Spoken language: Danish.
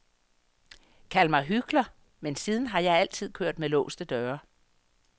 Kald mig hykler, men siden har jeg altid kørt med låste døre.